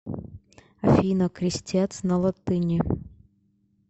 афина крестец на латыни